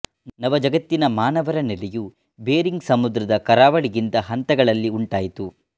ನವ ಜಗತ್ತಿನ ಮಾನವರ ನೆಲೆಯು ಬೆರಿಂಗ್ ಸಮುದ್ರದ ಕರಾವಳಿಯಿಂದ ಹಂತಗಳಲ್ಲಿ ಉಂಟಾಯಿತು